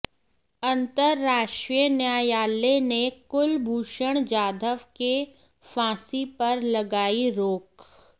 अंतरराष्ट्रीय न्यायालय ने कुलभूषण जाधव के फांसी पर लगार्इ रोक